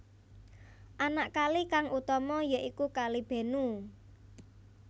Anak kali kang utama ya iku Kali Benue